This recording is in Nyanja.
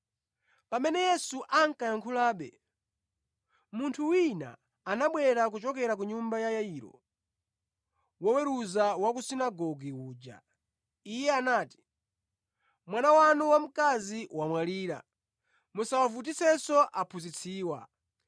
Pamene Yesu ankayankhulabe, munthu wina anabwera kuchokera ku nyumba ya Yairo, woweruza wa ku sunagoge uja. Iye anati, “Mwana wanu wa mkazi wamwalira, musawavutitsenso Aphunzitsiwa.”